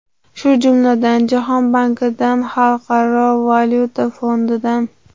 Shu jumladan, Jahon bankidan, Xalqaro valyuta fondidan.